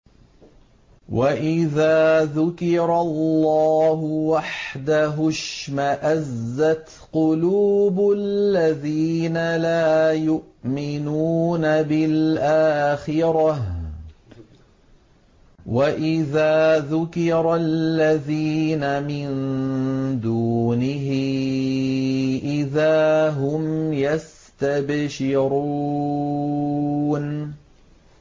وَإِذَا ذُكِرَ اللَّهُ وَحْدَهُ اشْمَأَزَّتْ قُلُوبُ الَّذِينَ لَا يُؤْمِنُونَ بِالْآخِرَةِ ۖ وَإِذَا ذُكِرَ الَّذِينَ مِن دُونِهِ إِذَا هُمْ يَسْتَبْشِرُونَ